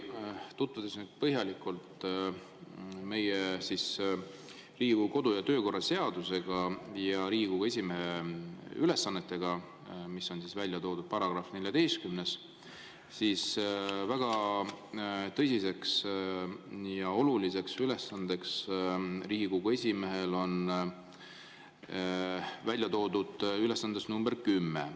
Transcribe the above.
Tutvudes põhjalikult Riigikogu kodu‑ ja töökorra seadusega ja Riigikogu esimehe ülesannetega, mis on välja toodud §‑s 14, siis väga tõsine ja oluline ülesanne on välja toodud nr 10.